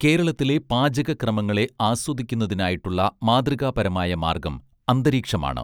കേരളത്തിലെ പാചക ക്രമങ്ങളെ ആസ്വദിക്കുന്നതിനായിട്ടുള്ള മാതൃകാപരമായ മാർഗ്ഗം അന്തരീക്ഷമാണ്